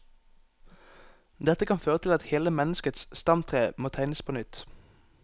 Dette kan føre til at hele menneskets stamtre må tegnes på nytt.